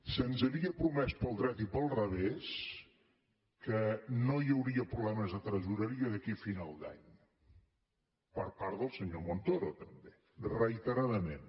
se’ns havia promès pel dret i pel revés que no hi hauria problemes de tresoreria d’aquí a final d’any per part del senyor montoro també reiteradament